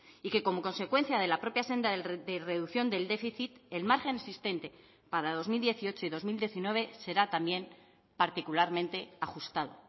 y que como consecuencia de la propia senda de reducción del déficit el margen existente para dos mil dieciocho y dos mil diecinueve será también particularmente ajustado